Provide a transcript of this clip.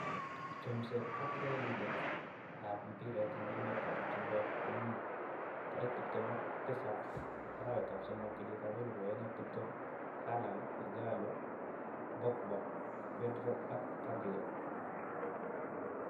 Chomset ab urerenet ab mbiret eng emet ab chumbek komuut 27.03.2020: Haaland, Ighalo, Pogba, Pedro, Gabriel